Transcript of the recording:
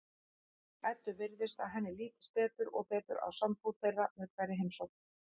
Eddu virðist að henni lítist betur og betur á sambúð þeirra með hverri heimsókn.